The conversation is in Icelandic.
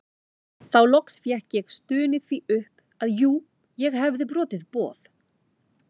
Þá loks fékk ég stunið því upp að jú ég hefði brotið boð